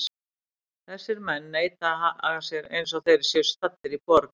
Þessir menn neita að haga sér eins og þeir séu staddir í borg.